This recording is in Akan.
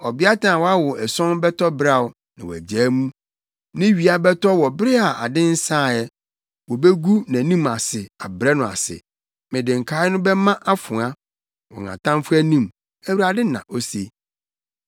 Ɔbeatan a wawo ason bɛtɔ beraw, na wagyaa mu. Ne wia bɛtɔ wɔ bere a ade nsaa ɛ; wobegu nʼanim ase abrɛ no ase. Mede nkae no bɛma afoa wɔ wɔn atamfo anim,” Awurade na ose.